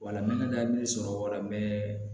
Wala n bɛ hakili sɔrɔ wala bɛ